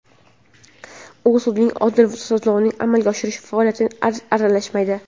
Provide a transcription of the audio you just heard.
U sudlarning odil sudlovni amalga oshirish faoliyatiga aralashmaydi.